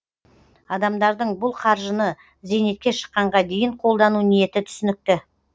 адамдардың бұл қаржыны зейнетке шыққанға дейін қолдану ниеті түсінікті